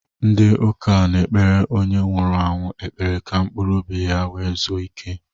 Ndị ụka na-ekpere onye nwụrụ anwụ ekpere ka mkpụrụ obi ya wee zuo ike.